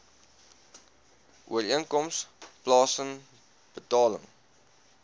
ooreenkoms plaasen betaling